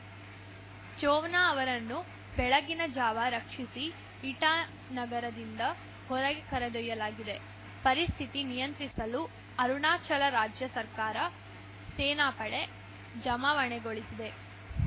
ಚೋವ್ನಾ ಅವರನ್ನು ಬೆಳಗಿನ ಜಾವ ರಕ್ಷಿಸಿ ಇಟಾನಗರದಿಂದ ಹೊರಗೆ ಕರೆದೊಯ್ಯಲಾಗಿದೆ ಪರಿಸ್ಥಿತಿ ನಿಯಂತ್ರಿಸಲು ಅರುಣಾಚಲ ರಾಜ್ಯ ಸರ್ಕಾರ ಸೇನಾಪಡೆ ಜಮಾವಣೆಗೊಳಿಸಿದೆ